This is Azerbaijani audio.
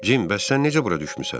Jim, bəs sən necə bura düşmüsən?